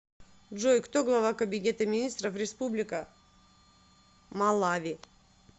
джой кто глава кабинета министров республика малави